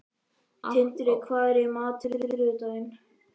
Tindri, hvað er í matinn á þriðjudaginn?